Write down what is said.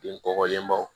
Bin kɔkɔlenbaw